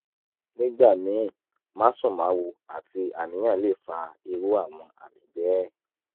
nígbà míì másùnmáwo àti àníyàn lè fa irú àwọn àmì bẹ́ẹ̀